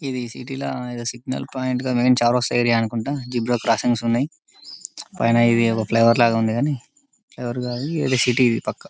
ఇది సిటీ లా single point main చౌరస్తా ఏరియా అనుకుంట జీబ్రా క్రొస్సింగ్స్ ఉన్నాయ్ పైన ఇదొక ఫ్లైఓవర్ లాగా ఉంది గాని ఫ్లైఓవర్ సిటీ ఇది పక్క .